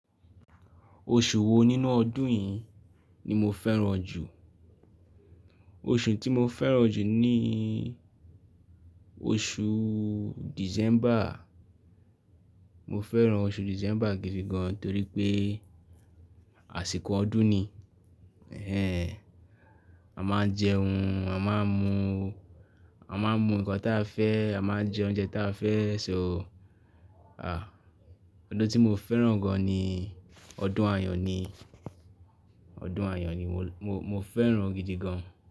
Oṣù wo nínú ọdún yìí ni mo fẹ́ràn jù? Oṣù tí mo fẹ́ràn jù ni oṣù December. Mo fẹ́ràn oṣù December gidi gan torí pé àsìkò ọdún ni. A máa ń jẹun, a máa ń mu, a máa ń mu ǹkan tí a fẹ́, a máa ń jẹ oúnjẹ tí a fẹ́ so. Ah! Ọdún tí mo fẹ́ràn gan ni ọdún ayo ni, ọdún ayo ni mo, mo fẹ́ràn gidi gan.